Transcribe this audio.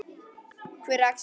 Hver er Axel?